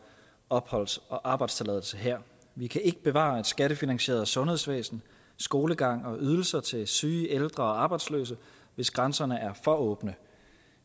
opholds og arbejdstilladelse her vi kan ikke bevare et skattefinansieret sundhedsvæsen skolegang og ydelser til syge ældre og arbejdsløse hvis grænserne er for åbne